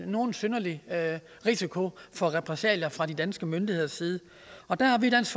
nogen synderlig risiko for repressalier fra de danske myndigheders side der har vi i dansk